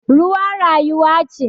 Ruwa rayuwa ce